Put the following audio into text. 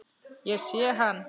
Ég sé hann